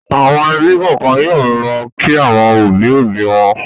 Àwọn ẹbí kọ̀ọ̀kan yóò lọ kí àwọn òbí-òbí wọn.